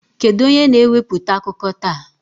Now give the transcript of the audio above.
Kedu onye na-ewepụta akụkọ taa?